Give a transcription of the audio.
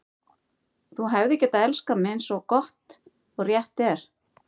Þú hefðir getað elskað mig, eins og gott og rétt er.